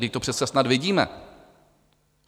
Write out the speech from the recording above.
Vždyť to přece snad vidíme.